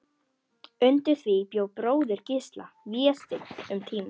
Undir því bjó bróðir Gísla, Vésteinn, um tíma.